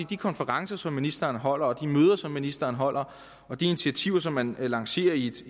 de konferencer som ministeren holder de møder som ministeren holder og de initiativer som man lancerer i et